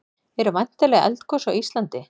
eru væntanleg eldgos á íslandi